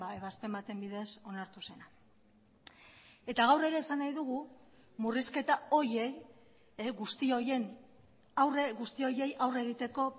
ebazpen baten bidez onartu zena eta gaur ere esan nahi dugu murrizketa horiei guzti horien aurre guzti horiei aurre egiteko